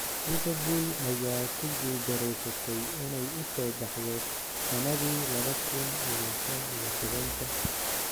Liverpool ayaa ku guuldareysatay inay u soo baxdo sanadi laba kuun iyo shan iyo tobanka.